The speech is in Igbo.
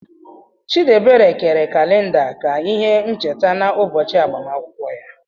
Chidiebere kere kalida ka ihe ncheta n'ụbọchị agbamakwụkwọ ya.